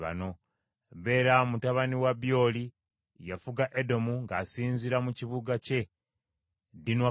Bera mutabani wa Byori yafuga Edomu ng’asinziira mu kibuga kye Dinukaba.